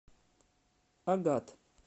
агат